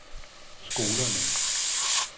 skolerne